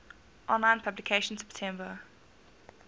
online publication september